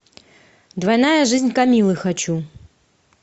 двойная жизнь камиллы хочу